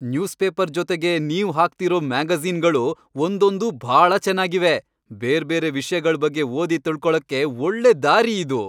Newspaper ಜೊತೆಗೆ ನೀವ್ ಹಾಕ್ತಿರೋ ಮ್ಯಾಗಜೀ಼ನ್ಗಳು ಒಂದೊಂದೂ ಭಾಳ ಚೆನಾಗಿವೆ. ಬೇರ್ಬೇರೆ ವಿಷ್ಯಗಳ್ ಬಗ್ಗೆ ಓದಿ ತಿಳ್ಕೊಳಕ್ಕೆ ಒಳ್ಳೆ ದಾರಿ ಇದು.